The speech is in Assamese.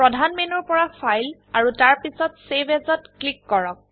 প্ৰধান মেনুৰ পৰা ফাইল আৰু তাৰপিছত চেভ Asত ক্লিক কৰক